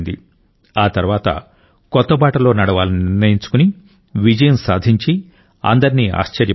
ఆ తర్వాత కొత్త బాటలో నడవాలని నిర్ణయించుకుని విజయం సాధించి అందరినీ ఆశ్చర్యపరిచారు